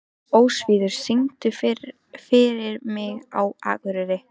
Ósvífur, syngdu fyrir mig „Á Akureyri“.